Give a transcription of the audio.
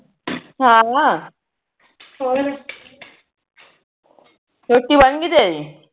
ਹਾ ਹੋਰ ਰੋਟੀ ਬਣਗੀ ਤੇਰੀ